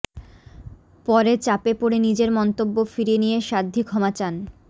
পরে চাপে পড়ে নিজের মন্তব্য ফিরিয়ে নিয়ে সাধ্বী ক্ষমা চান